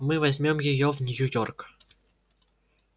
мы возьмём её в нью-йорк